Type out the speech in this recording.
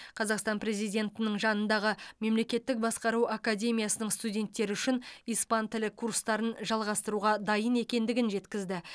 қазақстан президентінің жанындағы мемлекеттік басқару академиясының студенттері үшін испан тілі курстарын жалғастыруға дайын екендігін жеткізді